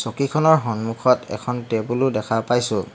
চকীখনৰ সন্মুখত এখন টেবুলো দেখা পাইছোঁ।